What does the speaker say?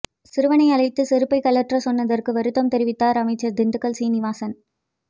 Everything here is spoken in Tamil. சிறுவனை அழைத்து செருப்பை கழற்ற சொன்னதற்கு வருத்தம் தெரிவித்தார் அமைச்சர் திண்டுக்கல் சீனிவாசன்